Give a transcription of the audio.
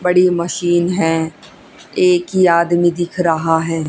बड़ी मशीन है एक ही आदमी दिख रहा है।